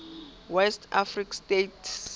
west african states